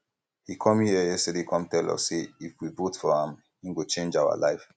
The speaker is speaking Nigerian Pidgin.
he come here yesterday come tell us say if we vote for am he go change our lives